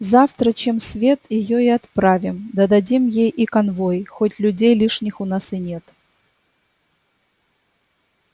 завтра чем свет её и отправим да дадим ей и конвой хоть людей лишних у нас и нет